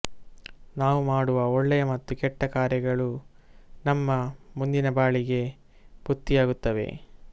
ನಾವು ಮಾಡುವ ಒಳ್ಳೆಯ ಮತ್ತು ಕೆಟ್ಟ ಕಾರ್ಯಗಳು ನಮ್ಮ ಮುಂದಿನ ಬಾಳಿಗೆ ಬುತ್ತಿಯಾಗುತ್ತವೆ